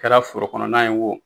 Kɛra foro kɔnɔnna ye wo